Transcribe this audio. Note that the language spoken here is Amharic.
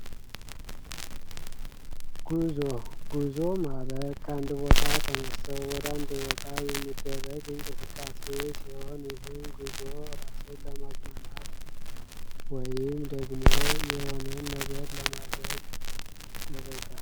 ጉዞ ጉዞ ማለት ከአንድ ቦታ ተነስተን ወደ አንድ ቦታ የሚደረግ እንቅስቃሴ ሲሆን ይህም ጉዞ ራስን ለማዝናናት ወይም ደግሞ የሆነ ነገር ለማድረግ ይደረጋል።